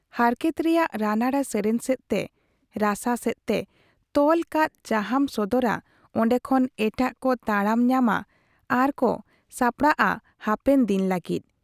ᱦᱟᱨᱠᱮᱛ ᱨᱮᱭᱟᱜ ᱨᱟᱱᱟᱲᱟ ᱥᱮᱨᱮᱧ ᱥᱮᱫ ᱛᱮ ᱨᱟᱥᱟ ᱥᱮᱫ ᱛᱮ ᱛᱚᱞ ᱠᱟᱛ ᱡᱟᱦᱟᱸᱢ ᱥᱚᱫᱚᱨᱟ, ᱚᱱᱰᱮ ᱠᱷᱚᱱ ᱮᱴᱟᱜ ᱠᱚ ᱛᱟᱲᱟᱢ ᱧᱟᱢᱟ ᱟᱨᱠᱚ ᱥᱟᱯᱲᱟᱣᱜ ᱟ ᱦᱟᱯᱮᱱ ᱫᱤᱱ ᱞᱟᱹᱜᱤᱫ ᱾